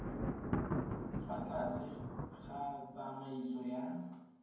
fa tlase ga tsamaiso ya